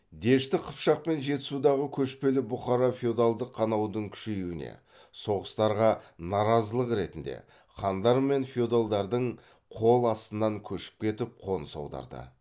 дешті қыпшақ пен жетісудағы көшпелі бұқара феодалдық қанаудың күшеюіне соғыстарға наразылық ретінде хандар мен феодалдардың қол астынан көшіп кетіп қоныс аударды